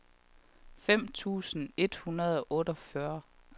femten tusind et hundrede og otteogfyrre